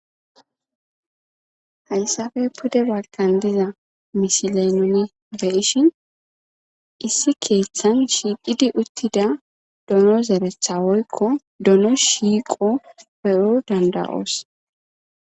Hayssafe pude balkan diza misilenune be ishin issi keeththan shiidhidi uttida dono zerethawoykko dono shiiqo peyo danda'oos.